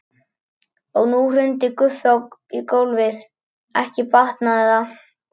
Og nú hrundi Guffi í gólfið, ekki batnaði það!